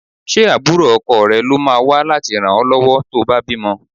Ṣé àbúrò ọkọ rẹ ló máa wá láti ràn ọ lọ́wọ́ tó bá bímọ?